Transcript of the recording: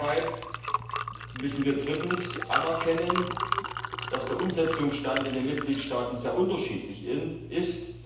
Deshalb müssen wir drittens anerkennen, dass der Umsetzungsstand in den Mitgliedstaaten sehr unterschiedlich ist.